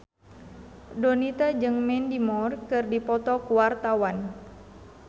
Donita jeung Mandy Moore keur dipoto ku wartawan